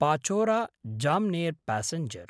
Pachora Jamner passenger